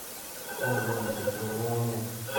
ko uu klodisyek che po ng'ung'unyek.